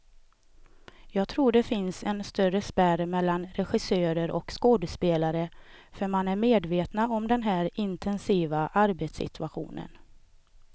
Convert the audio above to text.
Jag tror det finns en större spärr mellan regissörer och skådespelare, för man är medvetna om den här intensiva arbetssituationen.